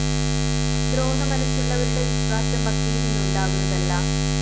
ദ്രോഹമനസ്സുള്ളവരുടെ വിശ്വാസം ഭക്തിയില്‍നിന്ന് ഉണ്ടാകുന്നതല്ല